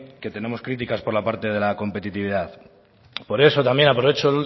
que tenemos críticas por la parte de la competitividad por eso también aprovecho